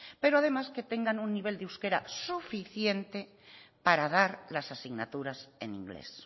pero además que tengan un nivel de euskera suficiente para dar las asignaturas en inglés